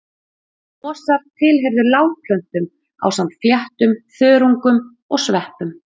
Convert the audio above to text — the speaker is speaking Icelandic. Mosar tilheyrðu lágplöntum ásamt fléttum, þörungum og sveppum.